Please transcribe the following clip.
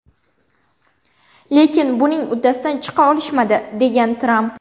Lekin buning uddasidan chiqa olishmadi”, degan Tramp.